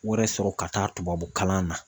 wɛrɛ sɔrɔ ka taa tubabu kalan na.